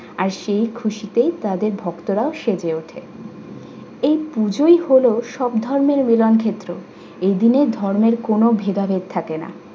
আর সেই খুশিতে তাদের ভক্তরাও সেজে ওঠে। এই পুজোই হলো সব ধরনের মিলন ক্ষেত্র । এদিনে ধর্মের কোন ভেদাভেদ থাকে না।